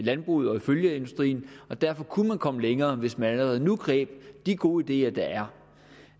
landbruget og følgeindustrien derfor kunne man komme længere hvis man allerede nu greb de gode ideer der